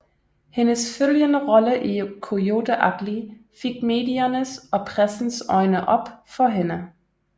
Hendes følgende rolle i Coyote Ugly fik mediernes og pressens øjne op for hende